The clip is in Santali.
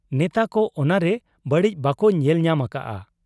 ᱱᱮᱛᱟ ᱠᱚ ᱚᱱᱟᱨᱮ ᱵᱟᱹᱲᱤᱡ ᱵᱟᱠᱚ ᱧᱮᱞ ᱧᱟᱢ ᱟᱠᱟᱜ ᱟ ᱾